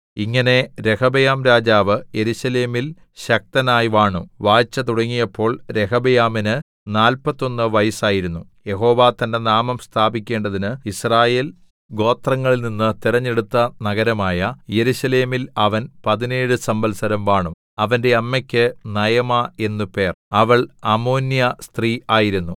ഇങ്ങനെ രെഹബെയാംരാജാവ് യെരൂശലേമിൽ ശക്തനായി വാണു വാഴ്ച തുടങ്ങിയപ്പോൾ രെഹബെയാമിന് നാല്പത്തൊന്ന് വയസ്സായിരുന്നു യഹോവ തന്റെ നാമം സ്ഥാപിക്കേണ്ടതിന് യിസ്രായേൽ ഗോത്രങ്ങളിൽനിന്ന് തെരഞ്ഞെടുത്ത നഗരമായ യെരൂശലേമിൽ അവൻ പതിനേഴു സംവത്സരം വാണു അവന്റെ അമ്മയ്ക്കു നയമാ എന്നു പേർ അവൾ അമ്മോന്യസ്ത്രീ ആയിരുന്നു